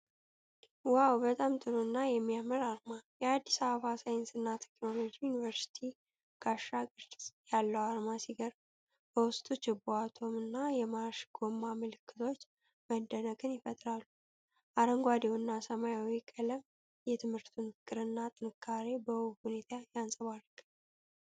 ዋው! በጣም ጥሩ እና የሚያምር አርማ! የአዲስ አበባ ሳይንስና ቴክኖሎጂ ዩኒቨርሲቲ ጋሻ ቅርጽ ያለው አርማ ሲገርም፣ በውስጡ ችቦ፣ አቶም እና የማርሽ ጎማ ምልክቶች መደነቅን ይፈጥራሉ። አረንጓዴውና ሰማያዊው ቀለም የትምህርቱን ፍቅርና ጥንካሬ በውብ ሁኔታ ያንጸባርቃል።